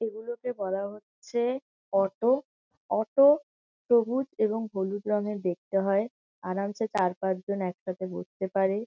এগুলোকে বলা হচ্ছে অটো । অটো সবুজ এবং হলুদ রঙের দেখতে হয়। আরামসে চার পাঁচজন একসাথে বসতে পারে।